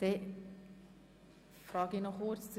Der Kommissionspräsident wünscht das Wort nicht mehr.